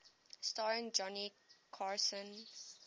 starring johnny carson